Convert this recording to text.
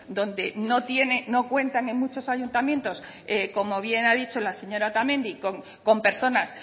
donde no tienen no cuentan en muchos ayuntamientos como bien ha dicho la señora otamendi con personas